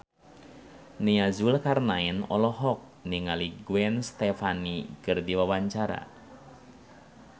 Nia Zulkarnaen olohok ningali Gwen Stefani keur diwawancara